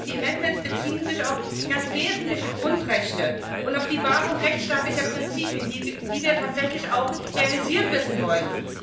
Der erste Grund ist Die Änderungsanträge beziehen sich auf ganz wesentliche Grundrechte und auf die Wahrung rechtsstaatlicher Prinzipien, die wir tatsächlich auch realisiert wissen wollen.